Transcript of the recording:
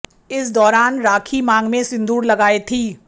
इस दौरान राखी मांग में सिंदूर लगाए थीं